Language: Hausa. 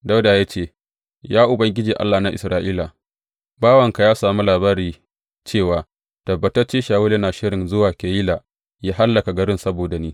Dawuda ya ce, Ya Ubangiji, Allah na Isra’ila, bawanka ya sami labari cewa tabbatacce Shawulu yana shirin zuwa Keyila yă hallaka garin saboda ni.